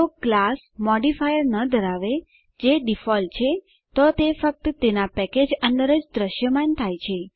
જો class modifier ન ધરાવે જે ડિફોલ્ટ છે તો તે ફક્ત તેના પેકેજ અંદર જ દૃશ્યમાન થાય છે